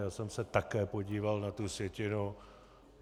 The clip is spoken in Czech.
Já jsem se také podíval na tu sjetinu.